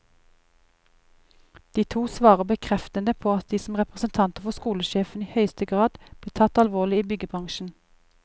De to svarer bekreftende på at de som representanter for skolesjefen i høyeste grad blir tatt alvorlig i byggebransjen.